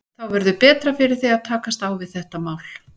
Þá verður betra fyrir þig að takast á við þetta mál.